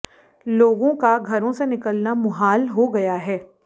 लोगों का घरों से निकलना मुहाल हो गया है